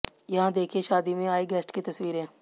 यहां देखिए शादी में आए गेस्ट की तस्वीरें